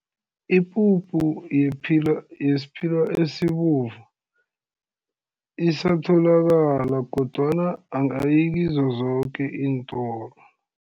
Ipuphu yesphila esibovu, isatholakala kodwana angayi kizo zoke iintolo.